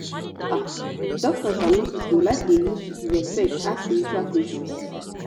ah doctors and nurses go like dey use respect ask spiritual questions